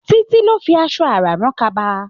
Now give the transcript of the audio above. Títí ló fi aṣọ àrán rán kaba.